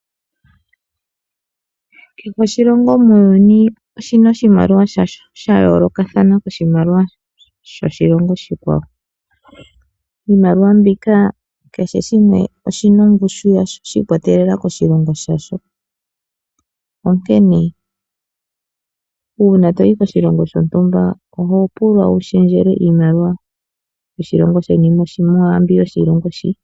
Kehe oshilongo muuyuni oshina oshimaliwa shasho sha yoolokathana koshimaliwa shoshilongo oshikwawo. Iimaliwa mbika kehe shimwe shina ongushu yasho shiikwatelela koshilongo shasho onkene uuna toyi koshilongo shontumba oho pulwa wushendjelwe iimaliwa yoshilongo sheni mwaambi yoshilongo shii.